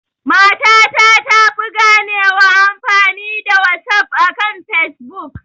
Mata ta tafi ganewa amfani da wasaf akan fesbuk